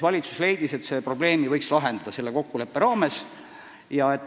Valitsus leidis, et selle probleemi võiks lahendada selle kokkuleppe raames.